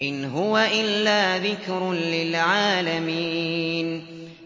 إِنْ هُوَ إِلَّا ذِكْرٌ لِّلْعَالَمِينَ